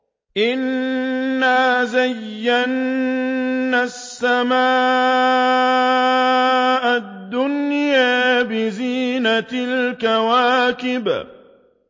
إِنَّا زَيَّنَّا السَّمَاءَ الدُّنْيَا بِزِينَةٍ الْكَوَاكِبِ